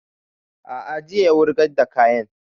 A'a jiya ya wurgar da kayan